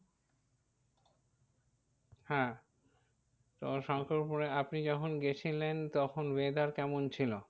হ্যাঁ তো শঙ্করপুরে আপনি যখন গিয়েছিলেন তখন weather কেমন ছিল?